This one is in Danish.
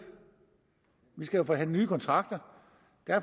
vi skal jo forhandle nye kontrakter